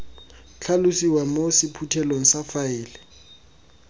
tlhalosiwa mo sephuthelong sa faele